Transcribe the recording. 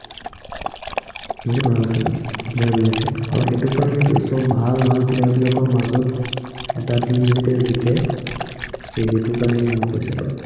বহুত ভাল খেলে player বিলাকে। আৰু সেইটো কাৰনেতো সৱ ভাল ভাল player বিলাকৰ মাজত এটা team যেতিয়া জিকে, সেই সেইটো কাৰনে ইমান পইচা পায়।